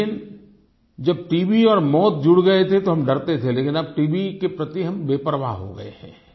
लेकिन जब टीबी और मौत जुड़ गए थे तो हम डरते थे लेकिन अब टीबी के प्रति हम बेपरवाह हो गए हैं